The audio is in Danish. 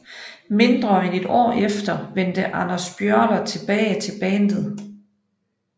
Mindre end et år efter vendte Anders Björler tilbage til bandet